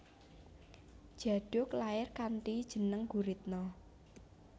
Djaduk lair kanthi jeneng Guritno